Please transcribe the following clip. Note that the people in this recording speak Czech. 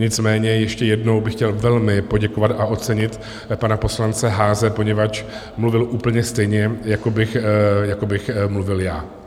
Nicméně ještě jednou bych chtěl velmi poděkovat a ocenit pana poslance Haase, poněvadž mluvil úplně stejně, jako bych mluvil já.